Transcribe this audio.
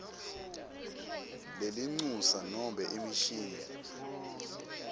lelincusa nobe imishini